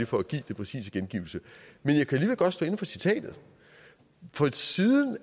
for at give den præcise gengivelse men jeg kan alligevel godt stå inde for citatet for siden